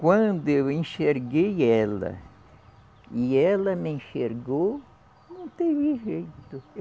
Quando eu enxerguei ela e ela me enxergou, não teve jeito.